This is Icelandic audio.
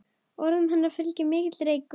Orðum hennar fylgir mikill reykur.